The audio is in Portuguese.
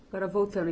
Agora, voltando.